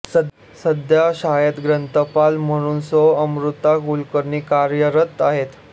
सध्या शाळेत ग्रंथपाल म्हणून सौ अमृता कुलकर्णी कार्यरत आहेत